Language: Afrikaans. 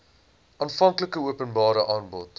aanvanklike openbare aanbod